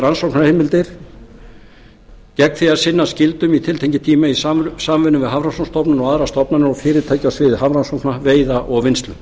rannsóknarheimildir gegn því að sinna skyldum í tiltekinn tíma í samvinnu við hafrannsóknastofnun og aðrar stofnanir og fyrirtæki á sviði hafrannsókna veiða og vinnslu